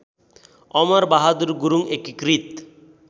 अमरबहादुर गुरुङ एकीकृत